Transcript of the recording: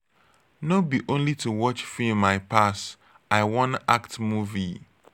no be only to watch film i pass. i wan act movie